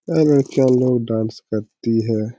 ए बच्चा लोग डांस करती हैं।